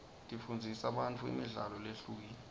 tifundzisa bantfu imidlalo lehlukile